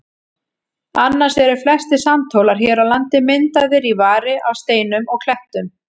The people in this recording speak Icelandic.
Annars eru flestir sandhólar hér á landi myndaðir í vari af steinum og klettum.